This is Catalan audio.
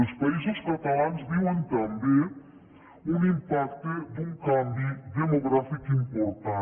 els països catalans viuen també un impacte d’un canvi demogràfic important